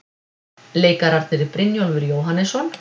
Leikararnir, Brynjólfur Jóhannesson